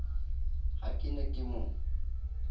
ha ke ne ke mo